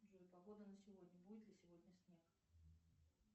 джой погода на сегодня будет ли сегодня снег